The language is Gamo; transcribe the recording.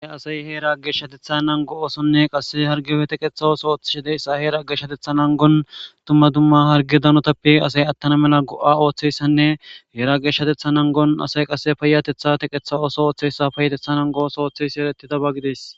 Aa asay heera geshshatetha nango oosonne qase harge oe teqetha ooso ooththishideyssa heera aggeshshatetha nangon tumma dumma harge danotappe asay attana mela go'a ooththeyssanne heera ageshshatetha nangon asay qasse payatetha teqetha oso ooththeyssa paayatetha nangoos ooththeysi erettida bagides.